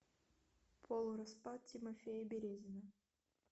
полураспад тимофея березина